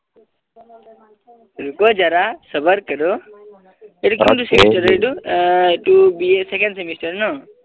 रूकौ जारासबर करौ এইটো কি দিছে এইটো বি. এsecond semester ন